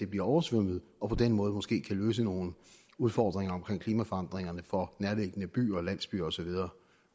bliver oversvømmet og på den måde måske kan løse nogle udfordringer i klimaforandringerne for nærliggende byer og landsbyer og så videre